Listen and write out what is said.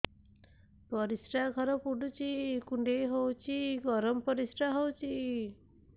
ପରିସ୍ରା ଘର ପୁଡୁଚି କୁଣ୍ଡେଇ ହଉଚି ଗରମ ପରିସ୍ରା ହଉଚି